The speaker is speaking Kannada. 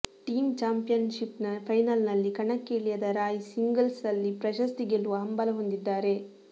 ಟೀಮ್ ಚಾಂಪಿಯನ್ಷಿಪ್ನ ಫೈನಲ್ನಲ್ಲಿ ಕಣಕ್ಕೆ ಇಳಿಯದ ರಾಯ್ ಸಿಂಗಲ್ಸ್ನಲ್ಲಿ ಪ್ರಶಸ್ತಿ ಗೆಲ್ಲುವ ಹಂಬಲ ಹೊಂದಿದ್ದಾರೆ